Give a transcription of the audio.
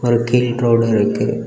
ஒரு கீழ் ரோடு இருக்கு.